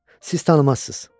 Siz tanımazsız.